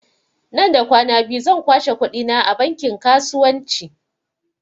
Nan da kwana biyu zan kwashe kuɗi na a bankin kasuwanci